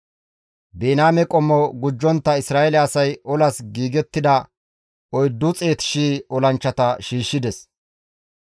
Biniyaame qommo gujjontta Isra7eele asay olas giigettida 400,000 olanchchata shiishshides.